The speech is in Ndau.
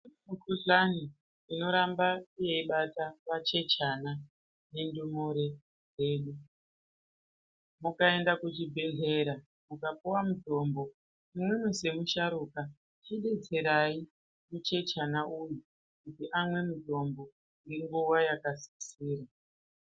Mu kuhlani ino ramba yei bata vachechana ne ndumure dzedu mukaenda ku chi bhedhlera muka puwa mutombo imwimwi se musharuka chi detserai mu chechana uyu kuti amwe mutombo nge nguva yaka sisira.